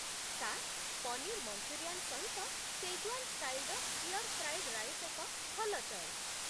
Sir, paneer Manchurian ସହିତ Schezwan ଷ୍ଟାଇଲ୍‌ର stir fried rice ଏକ ଭଲ ଚଏସ୍ ।